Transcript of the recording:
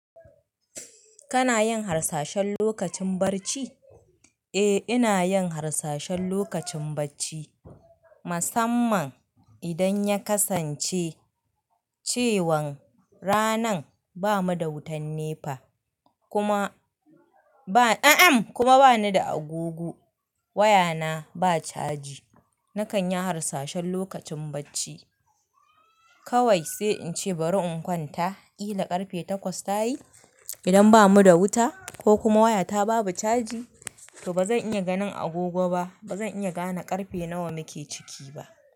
Kana yin harsashen lokacin bacci? Eh, ina yin harsashen lokacin bacci. Musamman idan ya kasance cewan ranan ba mu da wutan NEPA kuma ba, a a'm kuma bani da agogo. Wayana ba caji. Nakan yi harsashen lokacin bacci. Kawai sai in ce bari in kwanta. Kila karfe takwas ta yi. Idan ba mu da wuta ko kuma wayata babu caji, to bazan iya ganin agogo ba. Ba zan iya gane karfe nawa muke ciki ba.